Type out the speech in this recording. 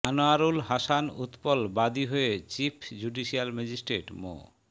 আনোয়ারুল হাসান উৎপল বাদী হয়ে chief judicial magistrate মো